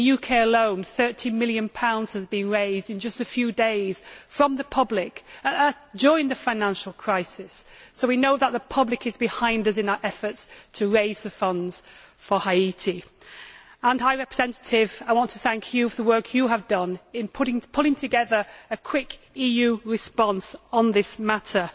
In the UK alone, GBP 30 million has been raised in just a few days from the public, during the financial crisis so we know that the public is behind us in our efforts to raise funds for Haiti. High Representative, I want to thank you for the work you have done in pulling together a quick EU response on this matter.